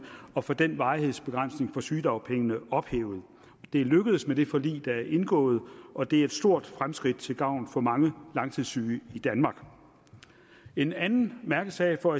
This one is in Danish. at få den varighedsbegrænsning på sygedagpengene ophævet det er lykkedes med det forlig der er indgået og det er et stort fremskridt til gavn for mange langtidssyge i danmark en anden mærkesag for